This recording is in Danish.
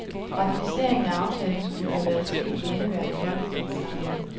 Ratificeringen af aftalen skulle have været sket i indeværende folketingssamling.